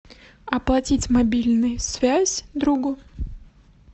оплатить мобильную связь другу